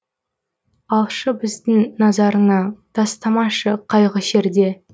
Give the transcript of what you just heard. алшы бізді назарыңа тастамашы қайғы шерде